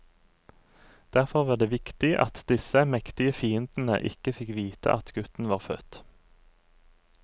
Derfor var det viktig at disse mektige fiendene ikke fikk vite at gutten var født.